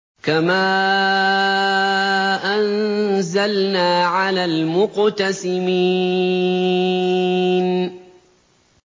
كَمَا أَنزَلْنَا عَلَى الْمُقْتَسِمِينَ